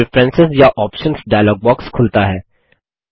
preference या options dialog box खुलता है